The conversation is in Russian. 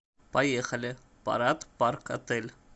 поехали парад парк отель